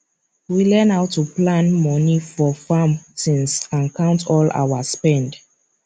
we learn how to plan money for farm things and count all our spend